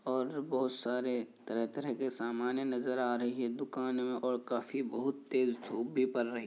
और बहुत सारे तरह-तरह के सामाने नजर आ रहे हैं। दुकान में और काफी तेज धूप भी पड़ रही--